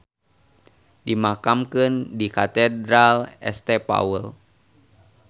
Dimakamkeun di Katedral St Paul.